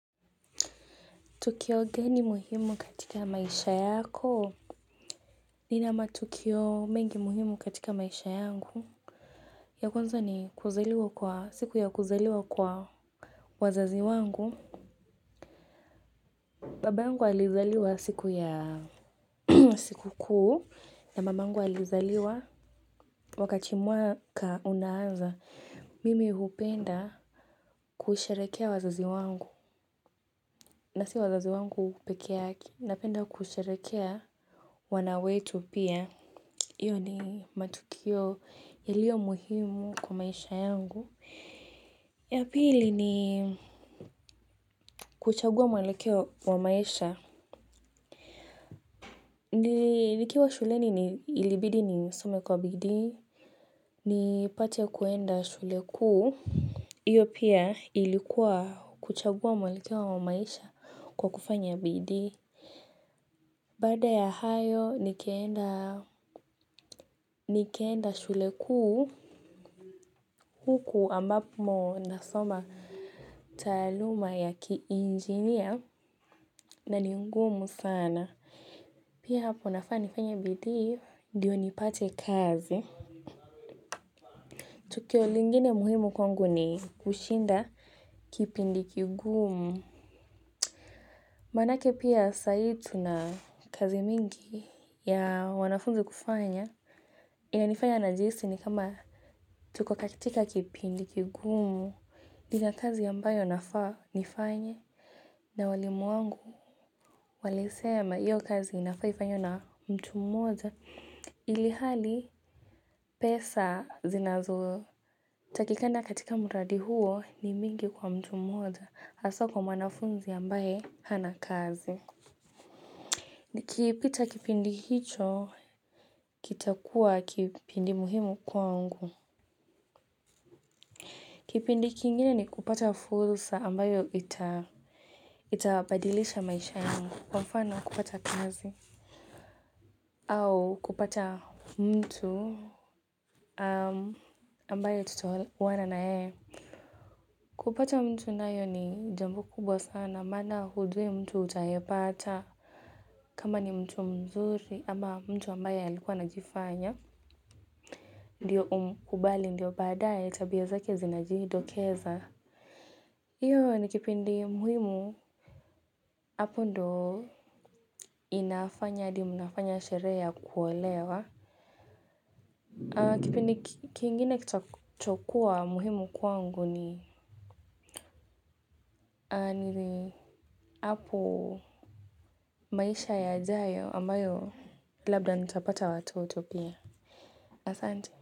Tukio gani muhimu katika maisha yako. Nina matukio mengi muhimu katika maisha yangu. Ya kwanza ni kuzaliwa kwa siku ya kuzaliwa kwa. Wazazi wangu. Baba yangu alizaliwa siku ya siku kuu. Na mamangu alizaliwa. Wakati mwaka unaanza. Mimi hupenda kusherekea wazazi wangu. Na si wazazi wangu pekee yake. Napenda kusherekea wana wetu pia. Hio ni matukio ilio muhimu kwa maisha yangu. Ya pili ni kuchagua mwelekeo wa maisha. Nikiwa shuleni ni ilibidi nisome kwa bidii. Nipate kuenda shule kuu. Iyo pia ilikuwa kuchagua mwalekewa wa maisha kwa kufanya BD. Baada ya hayo, nikaenda shule kuu. Huku ambapo nasoma taaluma ya kiinjinia na ni ngumu sana. Pia hapo nafaa nifanye bidi, ndiyo nipate kazi. Tukio lingine muhimu kwangu ni kushinda kipindi kigumu. Manake pia sai tuna kazi mingi ya wanafunzi kufanya. Ina nifanya najihisi ni kama tuko kakitika kipindi kigumu. Nina kazi ambayo nafaa nifanye na walimu wangu walisema iyo kazi inafaa ifanywe na mtu mmoja ilihali pesa zinazo. Takikana katika muradi huo ni mingi kwa mtu mmoja haswa kwa mwanafunzi ambaye hana kazi. Kipita kipindi hicho kitakua kipindi muhimu kwangu. Kipindi kingine ni kupata fursa ambayo itabadilisha maisha yangu. Kwa mfano kupata kazi, au kupata mtu ambaye tutaoana na yeye. Kupata mtu nayo ni jambo kubwa sana mana hujui mtu utayepata. Kama ni mtu mzuri ama mtu ambaye alikuwa anajifanya ndio umkubali ndio baadae tabia zake zinajidokeza. Hio ni kipindi muhimu, hapo ndo inafanya hadi mnafanya sherehe ya kuolewa. Kipindi kingine kitachokuwa muhimu kwangu ni nili hapo maisha yajayo ambayo labda nitapata watoto pia. Asante.